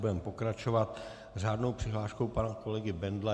Budeme pokračovat řádnou přihláškou pana kolegy Bendla.